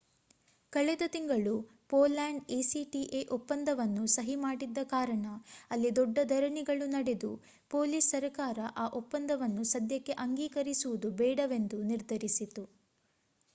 ಕಳೆದ ತಿಂಗಳು Poland acta ಒಪ್ಪಂದವನ್ನು ಸಹಿ ಮಾಡಿದ್ದ ಕಾರಣ ಅಲ್ಲಿ ದೊಡ್ಡ ಧರಣಿಗಳು ನಡೆದು ಪೋಲಿಷ್ ಸರಕಾರ ಆ ಒಪ್ಪಂದವನ್ನು ಸದ್ಯಕ್ಕೆ ಅಂಗೀಕರಿಸುವುದು ಬೇಡವೆಂದು ನಿರ್ಧರಿಸಿತು